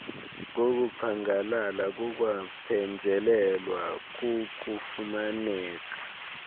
kokuphangalala kukwaphenjelelwa kukufumaneka